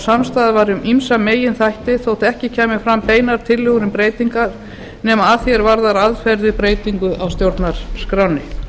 samstaða var um ýmsa meginþætti þótt ekki kæmu fram beinar tillögur um breytingar nema að því er varðar aðferðir á breytingum á stjórnarskránni